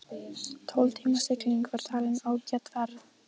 Tólf tíma sigling var talin ágæt ferð.